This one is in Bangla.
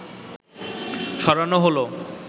সরানো হলো